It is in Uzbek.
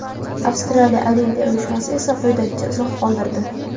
Avstraliya Olimpiya uyushmasi esa quyidagicha izoh qoldirdi:.